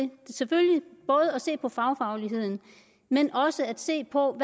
se på fagfagligheden men også se på